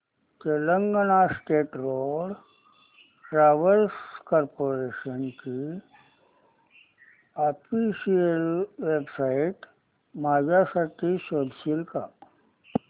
Telangana state road transport corporation ची official website माझ्यासाठी शोधशील का